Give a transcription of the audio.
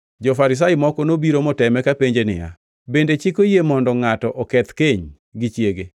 Jo-Farisai moko nobiro moteme kapenje niya, “Bende chik oyie mondo ngʼato oketh keny gi chiege?”